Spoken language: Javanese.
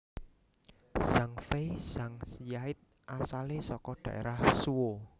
Zhang Fei Zhang Yide asalé saka daerah Zhuo